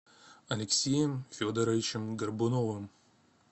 алексеем федоровичем горбуновым